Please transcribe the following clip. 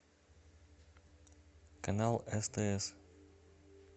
канал стс